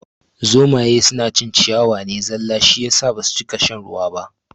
Zomaye suna cin ciyawa ne zalla shi yasa basu cika shan ruwa ba